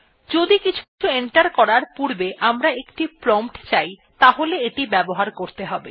যদি কিছু এন্টার করার পূর্বে আমরা একটি প্রম্পট চাই তাহলে এটি ব্যবহার করতে হবে